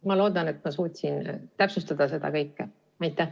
Ma loodan, et ma suutsin seda kõike täpsustada.